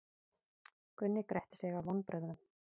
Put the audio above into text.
Gunni gretti sig af vonbrigðum.